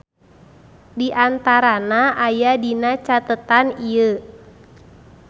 Diantarana aya dina catetan ieu.